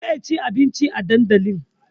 Zai ci abinci a dandali